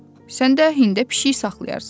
Sən də hində pişik saxlayarsan.